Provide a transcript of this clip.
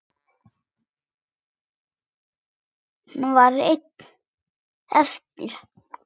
Hann var einn eftir.